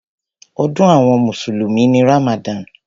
Ọdún àwọn mùsùlùmí ni Ramadan.